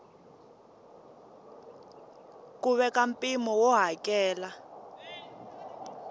ku veka mpimo wo hakela